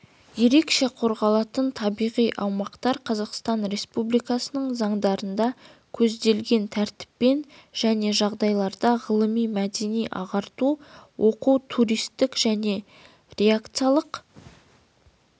ерекше қорғалатын табиғи аумақтар қазақстан республикасының заңдарында көзделген тәртіппен және жағдайларда ғылыми мәдени-ағарту оқу туристік және рекреациялық